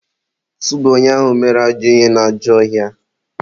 tụba onye ahụ mere ajọ ihe n'ajọ ọhịa!